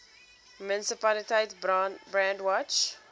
munisipaliteit brandwatch